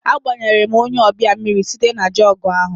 Agbanyere m onye ọbịa mmiri site na jọgụ ahụ